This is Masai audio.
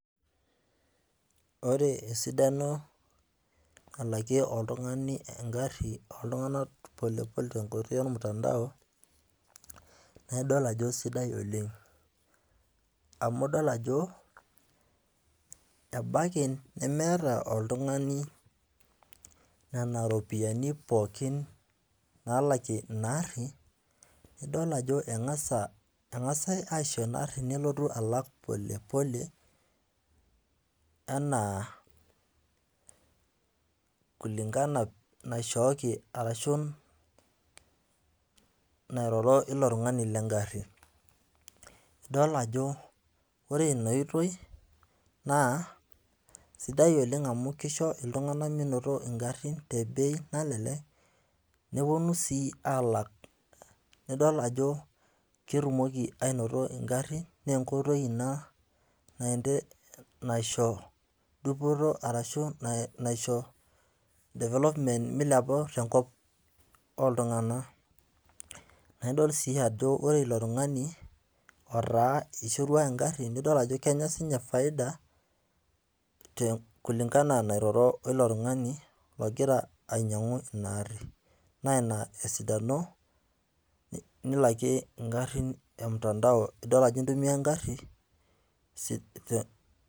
Ore esidano nalakiee oltung'ani eng'ari ooltung'ana polepole tenkoitoi olmutandao, naa idol ajo sidai oleng', amu idol ajo, ebaiki nemeata oltung'ani nena ropiani pookin naalakie ina aari, naa idol ajo keng'asi aisho ina gari nelotu alak polepole anaa kulingana naishooki arashu nairoro o ilo tung'ani le eng'ari. Idol ajo ore ina oitoi naa sidai oleng' amu eisho iltung'ani meinoto ingarin te bei nalelek, nepuonu sii aalak, nidol ajo ketumoki ainoto ing'arin naa enkoitoi ia dupoto arashu naisho development meilepu tenkop oltung'ana. Naa idol sii ajo ilo tung'ani oishorua engari nidol ajo kenya sii ninye faida kulingana anaa peiroro o ilo tung'ani logira ainyang'u ina gari naa ina esidano nilakie ing'arin e mutandao, idol ajo intumia engari .